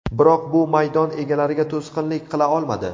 Biroq bu maydon egalariga to‘sqinlik qila olmadi.